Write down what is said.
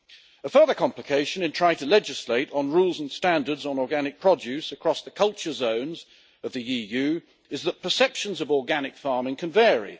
A further complication in trying to legislate on rules and standards on organic produce across the culture zones of the EU is that perceptions of organic farming can vary.